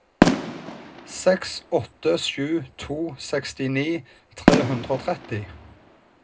seks åtte sju to sekstini tre hundre og tretti